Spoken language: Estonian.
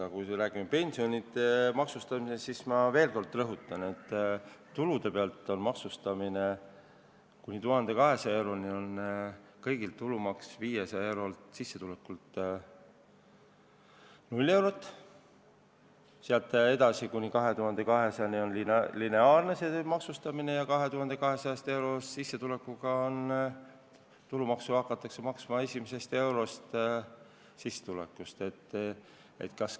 Aga kui me räägime pensionite maksustamisest, siis ma veel kord rõhutan, et tulude maksustamisel on kuni 1200 euro suuruse sissetuleku korral kõigil 500 eurolt tulumaks 0 eurot, sealt edasi, kuni 2200 euroni on maksustamine lineaarne ja 2200-eurose sissetuleku puhul hakatakse tulumaksu maksma alates sissetuleku esimesest eurost.